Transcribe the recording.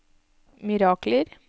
mirakler